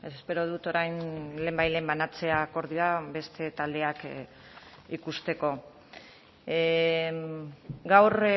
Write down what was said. espero dut orain lehenbailehen banatzea akordioa beste taldeak ikusteko gaur